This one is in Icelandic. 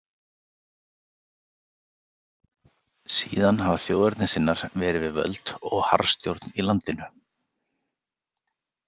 Síðan hafa þjóðernissinnar verið við völd og harðstjórn í landinu.